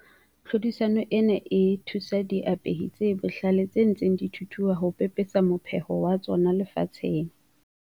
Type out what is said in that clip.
Tlhodisano ena e thusa diapehi tse bohlale tse ntseng di thuthua ho pepesa mopheho wa tsona lefatsheng.